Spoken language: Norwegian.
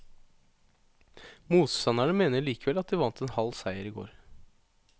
Motstanderne mener likevel at de vant en halv seier i går.